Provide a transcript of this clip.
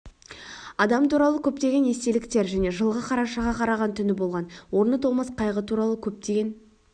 адам туралы көптеген естеліктер және жылғы қарашаға қараған түні болған орны толмас қайғы туралы көптеген